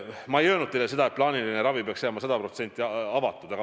Ma ei öelnud, et plaaniline ravi peaks jääma sada protsenti avatud.